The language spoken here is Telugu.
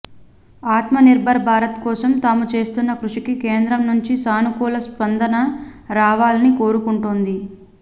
ఆత్మనిర్భర్ భారత్ కోసం తాము చేస్తున్న కృషికి కేంద్రం నుంచి సానుకూల స్పంద న రావాలని కోరుకుంటోంది